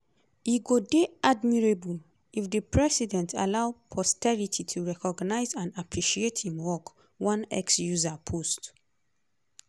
"e go dey admirable if di president allow posterity to recognise and appreciate im work" one x user post.